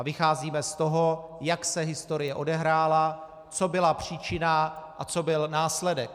A vycházíme z toho, jak se historie odehrála, co byla příčina a co byl následek.